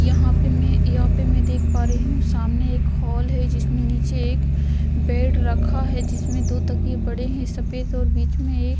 यहाँ पे मैं यहाँ पे मैं देख पा रही हूं सामने एक हाल है जिसमें नीचे एक बेड रखा है जिसमें दो तकिया बड़े ही सफेद और बीच में एक--